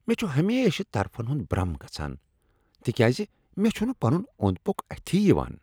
مےٚ چُھ ہمیشہِ طرفن ہُند برم گژھان تِكیازِ مےٚ چُھنہٕ پنُن اوٚند پوٚکھ اتھی یوان۔